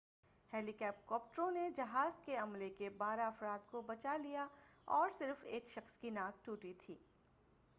ہیلی کاپٹروں نے جہاز کے عملے کے بارہ افراد کو بچا لیا اور صرف ایک شخص کی ناک ٹوٹی تھی